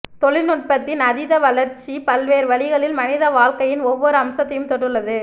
தொழில்நுட்பத்தின் அதித வளர்ச்சி பல்வேறு வழிகளில் மனித வாழ்க்கையின் ஒவ்வொரு அம்சத்தையும் தொட்டுள்ளது